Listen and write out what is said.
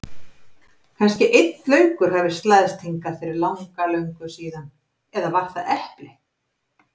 Kannski einn laukur hafi slæðst hingað fyrir langa löngu síðan eða var það epli.